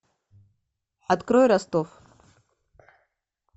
открой ростов